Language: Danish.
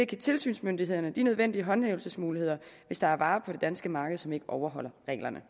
tilsynsmyndighederne de nødvendige håndhævelsesmuligheder hvis der er varer på det danske marked som ikke overholder reglerne